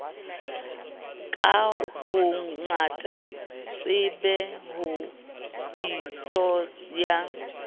ka bongata tshebe diso ya